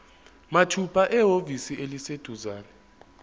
mathupha ehhovisi eliseduzane